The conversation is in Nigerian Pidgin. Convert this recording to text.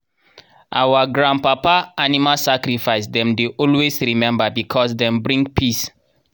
our grandpapa animal sacrifice dem dey always remember because dem bring peace.